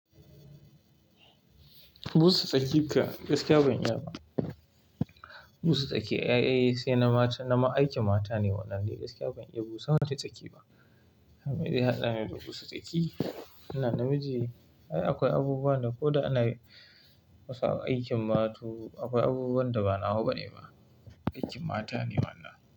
Busa tsaki ka, gaskiya banyi ba. Busa tsaki, ai ai sai na mata, na aikin mata ne wannan dai gaskiya banyi busa wata tsaki ba. Me zai hada ni da busa tsaki? Ina namiji, ai akwai abubuwa da ko da ana kusa a aikin ma to akwai abubuwan da ba nawa bane ba, aikin mata ne wannan.